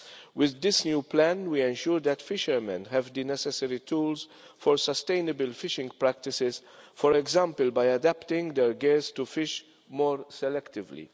With this new Plan we ensure that fishermen have the necessary tools for sustainable fishing practices, for example, by adapting their gear to fish more selectively.